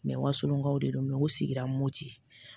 walonw de don u sigira mopti